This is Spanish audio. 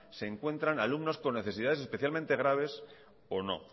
se encuentran alumnos con necesidades especialmente graves o no